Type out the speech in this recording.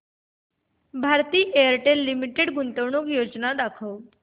Bharti Airtel limited गुंतवणूक योजना दाखव